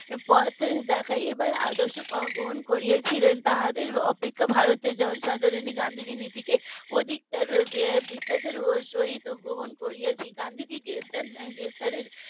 পথ দেখাবার আদর্শ গ্রহণ করেছিলেন তাদের অপেক্ষা ভারতের জনসাধারণই গান্ধীজির নীতি কে অধিকতর বিশ্বাসের সাথে গ্রহণ করেছেন গান্ধীজি গ্রেপ্তার গ্রেপ্তারির